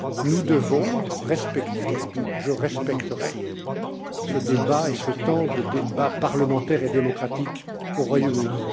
Nous devons respecter et je respecterai ce débat et ce temps de débat parlementaire et démocratique au Royaume